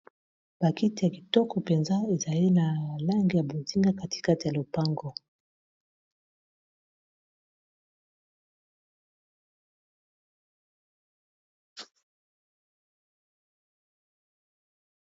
bakite ya kitoko mpenza ezali na alange ya bozinga katikate ya lopango